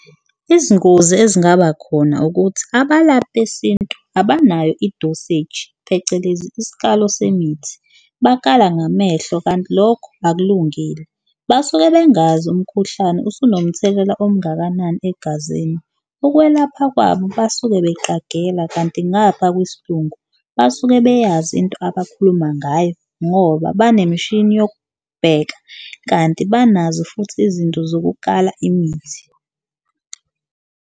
Izingozi ezingaba khona ukuthi abalaphi besintu abanayo idoseji phecelezi isikalo semithi bakala ngamehlo kanti lokho akulungile, basuke bengazi umkhuhlane usunomthelela omngakanani egazini ukwelapha kwabo basuke beqagela kanti. Ngapha kwesilungu basuke beyazi into abakhuluma ngayo ngoba banemishini yokubheka kanti banazo futhi izinto zokukala imithi.